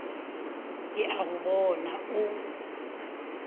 ke a go bona o